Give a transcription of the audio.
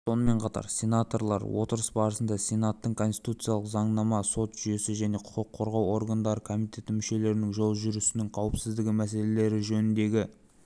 сонымен қатар сенаторлар отырыс барысында сенаттың конституциялық заңнама сот жүйесі және құқық қорғау органдары комитеті мүшелерінің жол жүрісінің қауіпсіздігі мәселелері жөніндегі